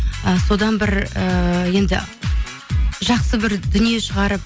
і содан бір ыыы енді жақсы бір дүние шығарып